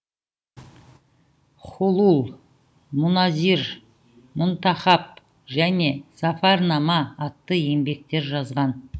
хулул муназир мунтахаб және зафарнама атты еңбектер жазған